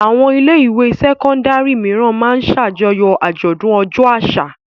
Àwọn ilé-ìwé sẹ́kọ́ndárì mìíràn máa ń ṣàjọyọ̀ àjọ̀dún ọjọ́ àṣà.